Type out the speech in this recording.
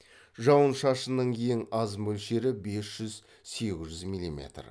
жауын шашынның ең аз мөлшері бес жүз сегіз жүз миллиметр